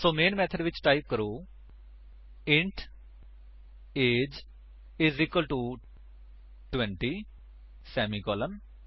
ਸੋ main method ਵਿੱਚ type ਕਰੋ int A G E I S equal to 20 semicolon